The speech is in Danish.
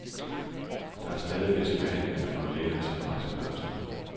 Der er stadig visse behandlinger, der får lægerne til at rejse børster.